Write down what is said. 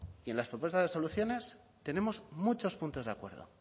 y en las propuestas de soluciones tenemos muchos puntos de acuerdo